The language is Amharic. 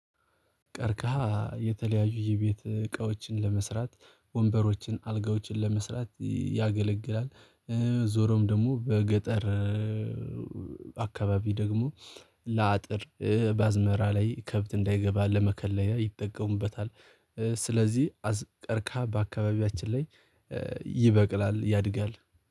ቀርቀሃ የተለያዩ የቤት እቃዎችን ለመስራት ወንበሮችን አልጋዎችን ለመስራት ያገለግላል። ዞሮም ደግሞ በገጠር አካባቢ ደግሞ ለአጥር በአዝመራ ላይ ከብት እንዳይገባ ለመከለያ ይጠቀሙበታል። ስለዚህ አርካ በአካባቢያችን ላይ ይበቅላል ያድጋል